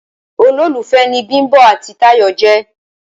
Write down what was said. Olólùfé ni Bimbo àti tayo je